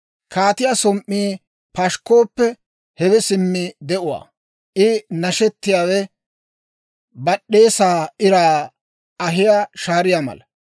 Kaatiyaa som"ii pashikkooppe, hewe simmi de'uwaa. I nashshiyaawe bad'd'eesaa iraa ahiyaa shaariyaa mala.